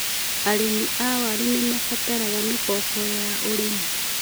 Arĩmi a waru nĩmarabatara mĩkombo ya ũrĩmi.